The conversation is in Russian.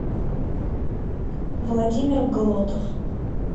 владимир глотов